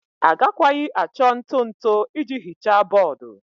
Agakwaghị achọ ntụ ntụ iji hichaa bọọdụ.